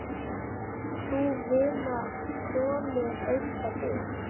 Sú vinna þolir enga bið.